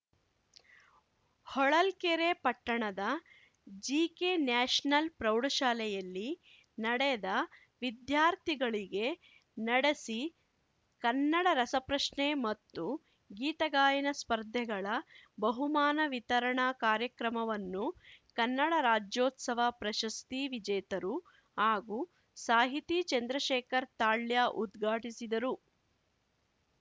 ಹೊಳಲ್ಕೆರೆ ಪಟ್ಟಣದ GK national ಪ್ರೌಢಶಾಲೆಯಲ್ಲಿ ನಡೆದ ವಿದ್ಯಾರ್ಥಿಗಳಿಗೆ ನಡೆಸಿ ಕನ್ನಡ ರಸ ಪ್ರಶ್ನೆ ಮತ್ತು ಗೀತಗಾಯನ ಸ್ಪರ್ಧೆಗಳ ಬಹುಮಾನ ವಿತರಣಾ ಕಾರ್ಯಕ್ರಮವನ್ನು ಕನ್ನಡ ರಾಜೋತ್ಸವ ಪ್ರಶಸ್ತಿ ವಿಜೇತರು ಹಾಗೂ ಸಾಹಿತಿ ಚಂದ್ರಶೇಖರ್‌ ತಾಳ್ಯ ಉದ್ಘಾಟಿಸಿದರು